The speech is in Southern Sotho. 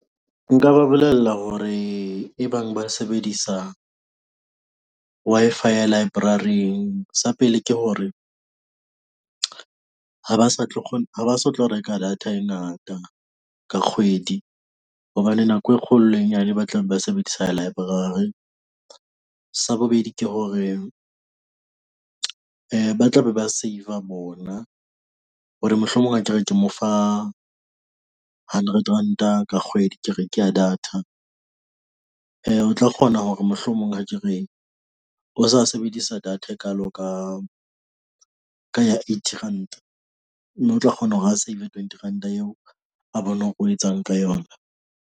Nka ba bolella hore e bang ba sebedisa Wi-Fi ya library-ng sa pele ke hore ha ba sa tlo kgo ha ba so tlo reka data e ngata ka kgwedi. Hobane nako e kgolo le e nyane ba tla be ba sebedisa library. Sa bobedi ke hore ba tla be ba save-a bona hore mohlomong akere ke mo fa hundred ranta ka kgwedi ke re ke ya data. O tla kgona hore mohlomong ha ke re o sa sebedisa data e kalo ka, ka ya eighty ranta, mme o tla kgona hore ho save-e twenty ranta eo a bone o etsang ka yona ng.